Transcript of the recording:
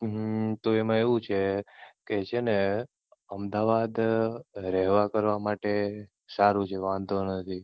હમ તો એમાં એવું છે કે છે ને અમદાવાદ રહેવા કરવા માટે સારું છે વાંધો નથી.